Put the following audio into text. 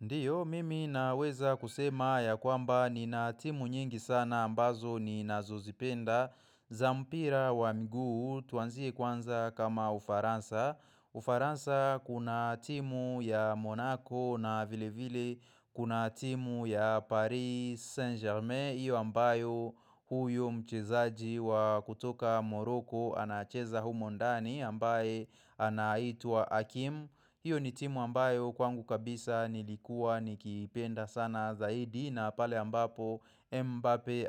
Ndiyo, mimi naweza kusema ya kwamba ni na timu nyingi sana ambazo ni nazozipenda za mpira wa mguu, tuanzie kwanza kama ufaransa Ufaransa kuna timu ya Monaco na vile vile kuna timu ya Paris Saint Germain Iyo ambayo huyo mchezaji wa kutoka Morocco anacheza humondani ambaye anaitwaa Hakim hiyo ni timu ambayo kwangu kabisa nilikuwa nikipenda sana zaidi na pale ambapo Mbappe